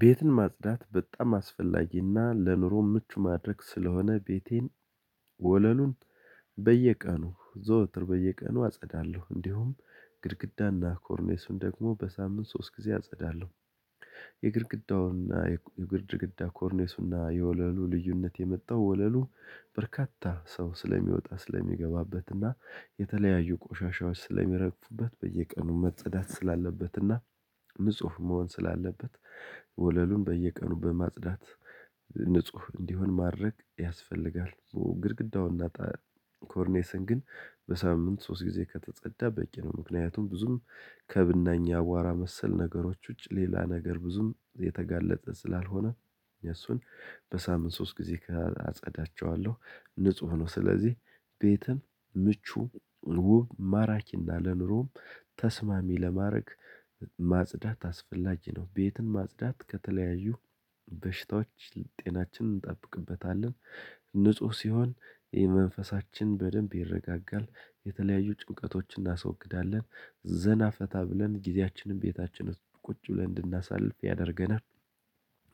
ቤትን ማጽዳት በጣም አስፈላጊና ለኑሮ ምቹ ማድረግ ስለሆነ፤ ቤቴን ወለሉን በየቀኑ ዘወትር በየቀኑ አጸዳለሁ። እንዲሁም ግድግዳና ኮርኔሱን ደግሞ በሳምንት ሶስት ጊዜ አጸዳለሁ። የግድግዳ ኮርኔሱና የወለሉ ልዩነት የመጣው ወለሉ በርካታ ሰው ስለሚወጣ ስለሚገባበት እና የተለያዩ ቆሻሻዎች ስለሚረግፉበት በየቀኑ መጸዳት ስላለበትና ንጹህ መሆን ስላለበት ወለሉን በየቀኑ በማጽዳት ንጹህ እንዲሆን ማድረግ ያስፈልጋል። ግድግዳውን እና ኮርኔስን ግን በሳምንት ሶስት ጊዜ ከተጸዳ በቂ ነው። ምክንያቱም ብዙም ከብናኝ አቧራ መሰል ነገሮች ውጭ ሌላ ነገር ብዙም የተጋለጠ ስላልሆነ፤ እነሱን በሳምንት ሶስት ጊዜ አጸዳቸዋለሁ። ንጹህ ነው ስለዚህ ቤትም ምቹ ውብ ማራኪና ለኑሮም ተስማሚ ለማድረግ ማጽዳት አስፈላጊ ነው። ቤትን ማጽዳት ከተለያዩ በሽታዎች ጤናችን እንጠብቅበታለን። ንጹህ ሲሆን የመንፈሳችን በደንብ ይረጋጋ፣ የተለያዩ ጭንቀቶችን እናስወግዳለን፣ ዘና ፈታ ብለን ጊዜያችንን ቤታችንን ቁጭ ብለን እንድናሳልፍ ያደርገናል፣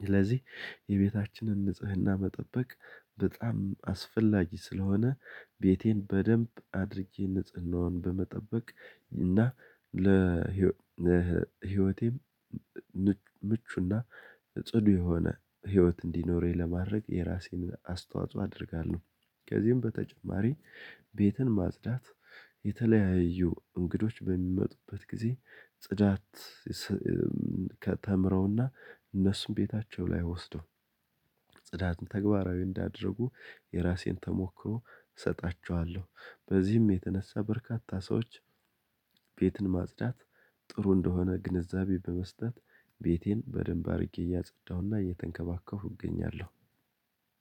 ስለዚህ የቤታችንን ንጽህና መጠበቅ በጣም አስፈላጊ ስለሆነ ቤቴን በደንብ አድርጌ ንጽህናውን በመጠበቅ እና ለ ለህይወቴም ምቹና ጽዱ የሆነ ህይወት እንዲኖረኝ ለማድረግ የራሴን አስተዋጽኦ አደርጋለሁ። ከዚህም በተጨማሪ፣ ቤትን ማጽዳት የተለያዩ እንግዶች በሚመጡበት ጊዜ ጽዳት ከተምረውና እነሱም ቤታቸው ላይ ወስደው ጽዳትን ተግባራዊ እንዲያደርጉ የራሴን ተሞክሮ እሰጣችኋለሁ። በዚህም የተነሳ በርካታ ሰዎች ቤትን ማጽዳት ጥሩ እንደሆነ ግንዛቤ በመስጠት ቤቴን በደንብ አድርጌ እያጸዳሁና እየተንከባከብሁ እገኛለሁ።